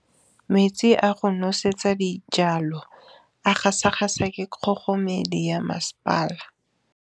Metsi a go nosetsa dijalo a gasa gasa ke kgogomedi ya masepala.